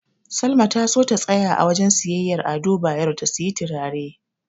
Salma ta so ta tsaya a wajen siyayyar Ado Bayero ta siyi turare.